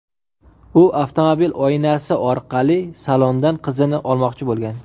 U avtomobil oynasi orqali salondan qizini olmoqchi bo‘lgan.